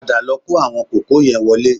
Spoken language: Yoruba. Padà lọ kó àwọn kòkó yẹ wọlé